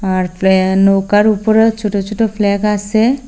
আর প্ল্যা নৌকার উপরেও ছোট ছোট ফ্ল্যাগ আসে।